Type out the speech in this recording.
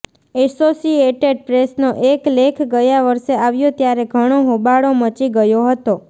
associated પ્રેસનો એક લેખ ગયા વર્ષે આવ્યો ત્યારે ઘણો હોબાળો મચી ગયો હતો